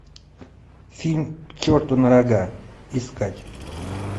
фильм к черту на рога искать